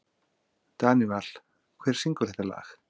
Danival, hver syngur þetta lag?